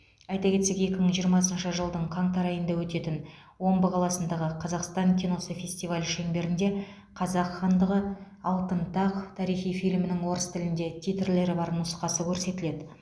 айта кетсек екі мың жиырмасыншы жылдың қаңтар айында өтетін омбы қаласындағы қазақстан киносы фестивалі шеңберінде қазақ хандығы алтын тақ тарихи фильмінің орыс тілінде титрлері бар нұсқасы көрсетіледі